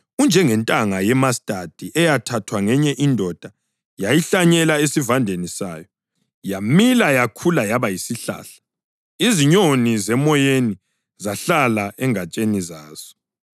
Unjengentanga yemastadi eyathathwa ngenye indoda yayihlanyela esivandeni sayo. Yamila yakhula yaba yisihlahla, izinyoni zemoyeni zahlala engatsheni zaso.”